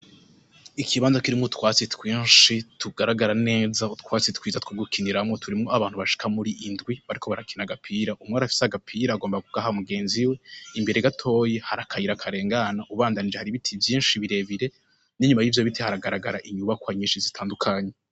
Ikibanza kirimwo utwatsi twinshi, tugaragara neza. Utwatsi twiza two gukiniramwo. Turimwo abantu bashika muri indwi, bariko barakina agapira. Umwe arafise agapira agomba kugaha mugenzi we. Imbere gatoya hari akayira karengana. Ubandanije hari ibiti vyinshi birebire. N'inyuma y'ivyo biti haragaragara inyubakwa zitandukanye.